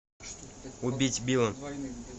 убить билла